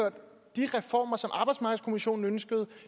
de reformer som arbejdsmarkedskommissionen ønskede